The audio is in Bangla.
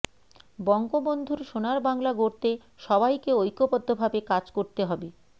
বঙ্গবন্ধুর সোনার বাংলা গড়তে সবাইকে ঐক্যবদ্ধভাবে কাজ করতে হবে